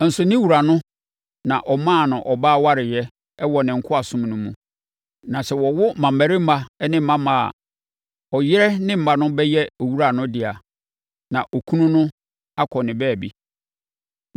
Sɛ nso ne wura no na ɔmaa no ɔbaa wareeɛ wɔ ne nkoasom no mu, na sɛ wɔwo mmammarima ne mmammaa a, ɔyere ne mma no bɛyɛ owura no dea na okunu no akɔ ne baabi.